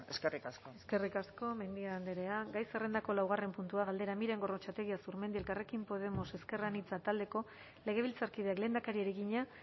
eskerrik asko eskerrik asko mendia andrea gai zerrendako laugarren puntua galdera miren gorrotxategi azurmendi elkarrekin podemos ezker anitza taldeko legebiltzarkideak lehendakariari egina